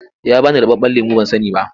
Ya ba ni ruɓaɓɓen lemo ban sani ba.